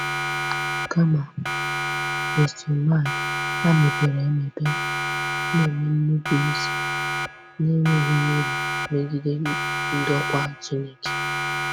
Kama, ha mepere emepe na-eme nnupụisi na-enweghị ihere megide ndokwa Chineke.